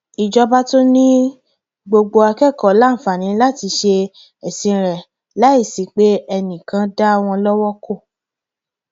ìjọba tún ni gbogbo akẹkọọ láǹfààní láti ṣe ẹsìn rẹ láì sí pé enìkan ń dá wọn lọwọ kò